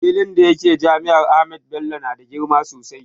Filin da yake jami'ar Ahmadu Bello na da girma sosai